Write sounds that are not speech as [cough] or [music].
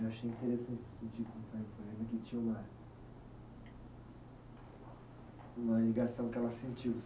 Eu achei interessante [unintelligible] uma ligação que ela sentiu